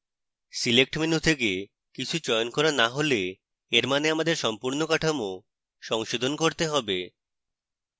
select menu থেকে কিছু চয়ন করা না হলে এর means আমাদের সম্পূর্ণ কাঠামো সংশোধন করতে হবে